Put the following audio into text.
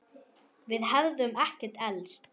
Við hefðum ekkert elst.